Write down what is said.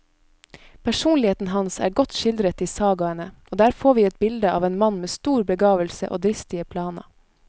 Personligheten hans er godt skildret i sagaene, og der får vi et bilde av en mann med stor begavelse og dristige planer.